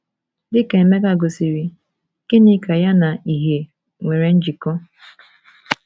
Dị ka Emeka gosiri, gịnị ka ya na ìhè nwere njikọ?